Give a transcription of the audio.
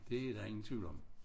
Det der ingen tvivl om